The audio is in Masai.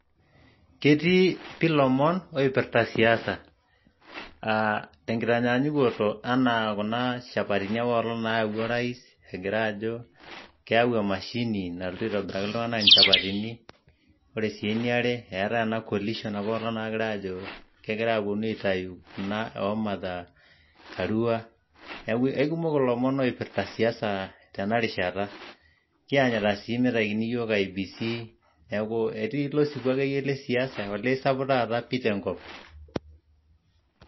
ketii ilomon oipirta siasa tenkitanyaanyukoto enaa kuna shapatini apailong naayawua orais egira keyau emashini nalotu aitobiraki iltunganak inchapatini ore sii eniare eetai ena coalition apailong nagirai ajo kegirai aitayu kuna oomatha karua neeku keikumok ilomon oipirta ilomon le siasa kianyita sii meitakini iyiok IBCE etii ilo siwuo lesiasa akeyie esapuk tenkop.